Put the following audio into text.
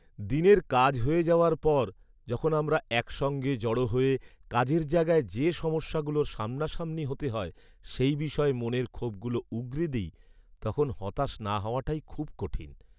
দিনের কাজ হয়ে যাওয়ার পর যখন আমরা একসঙ্গে জড়ো হয়ে, কাজের জায়গায় যে সমস্যাগুলোর সামনাসামনি হতে হয় সেই বিষয়ে মনের ক্ষোভগুলো উগরে দিই, তখন হতাশ না হওয়াটাই খুব কঠিন!